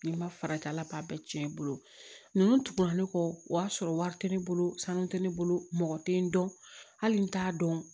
Ni n ma farati ala b'a bɛɛ cɛn i bolo ninnu tuguna ne kɔ o y'a sɔrɔ wari tɛ ne bolo sanu tɛ ne bolo mɔgɔ tɛ n dɔn hali n t'a dɔn